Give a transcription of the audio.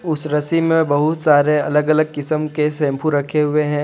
उस रस्सी में बहुत सारे अलग अलग किस्म के शैंपू रखे हुए हैं।